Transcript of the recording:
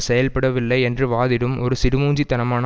செயல்படவில்லை என்று வாதிடும் ஒரு சிடுமூஞ்சி தனமான